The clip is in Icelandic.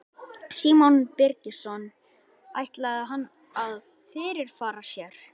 Símon Birgisson: Ætlaði hann að fyrirfara sér?